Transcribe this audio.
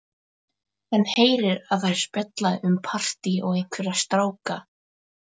Hann heyrir að þær spjalla um partí og einhverja stráka.